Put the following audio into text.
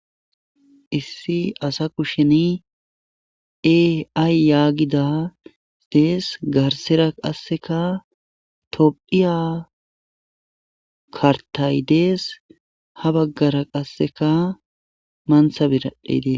issi asa kusheni eay yaagida dees garsera qasseka tophiya kartay dees ha baggara qasseka manthabiraedee